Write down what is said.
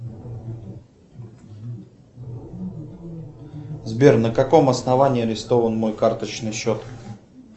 сбер на каком основании арестован мой карточный счет